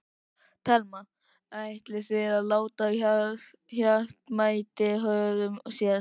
Telma: Ætlið þið að láta hart mæta hörðu hér?